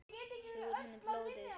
Sjúga úr henni blóðið.